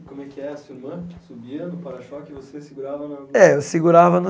Como é que a sua irmã subia no para-choque e você segurava na É eu segurava na